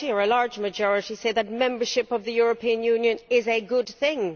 A large majority say that membership of the European Union is a good thing.